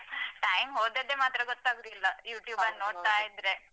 Time ಹೋದದ್ದೆ ಮಾತ್ರ ಗೊತ್ತಾಗುದಿಲ್ಲಾ YouTube ಲ್ಲಿ ನೋಡ್ತಾಯಿದ್ರೆ.